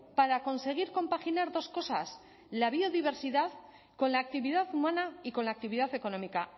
para conseguir compaginar dos cosas la biodiversidad con la actividad humana y con la actividad económica